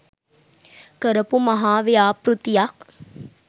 කරපු මහා ව්‍යාපෘතියක්.